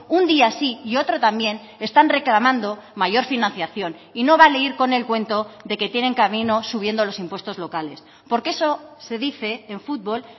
un día sí y otro también están reclamando mayor financiación y no vale ir con el cuento de que tienen camino subiendo los impuestos locales porque eso se dice en fútbol